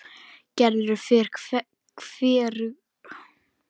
Gerður fer hvergi.